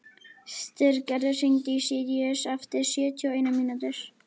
Styrgerður, hringdu í Sýrus eftir sjötíu og eina mínútur.